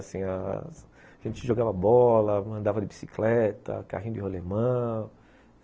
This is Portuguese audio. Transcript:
Assim... A... A gente jogava bola, andava de bicicleta, carrinho de rolimã.